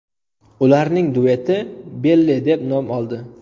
Ularning dueti Belle deb nom oldi.